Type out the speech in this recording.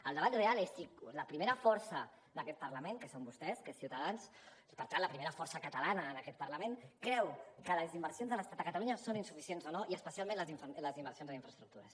el debat real és si la primera força d’aquest parlament que són vostès que és ciutadans i per tant la primera força catalana en aquest parlament creu que les inversions de l’estat a catalunya són insuficients o no i especialment les inversions en infraestructures